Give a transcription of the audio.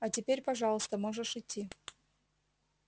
а теперь пожалуйста можешь идти